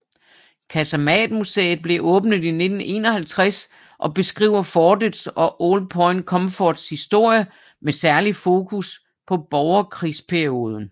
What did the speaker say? Kasematmuseet blev åbnet i 1951 og beskriver fortets og Old Point Comforts historie med særlig fokus på borgerkrigsperioden